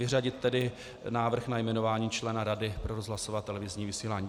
Vyřadit tedy návrh na jmenování člena Rady pro rozhlasové a televizní vysílání.